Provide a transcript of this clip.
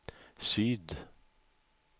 syd